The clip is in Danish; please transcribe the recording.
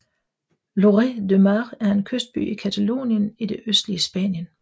Lloret de Mar er en kystby i Catalonien i det østlige Spanien